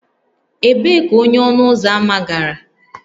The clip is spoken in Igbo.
Ebee ka onye ọnụ ụzọ ámá gara?